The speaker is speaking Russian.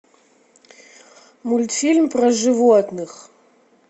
мультфильм про животных